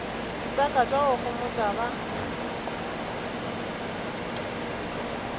ditseka tša go homotša ba